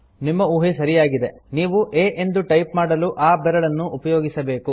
ನಿಮ್ಮ ಊಹೆ ಸರಿಯಾಗಿದೆ ನೀವು a ಎಂದು ಟೈಪ್ ಮಾಡಲು ಆ ಬೆರಳನ್ನು ಉಪಯೋಗಿಸಬೇಕು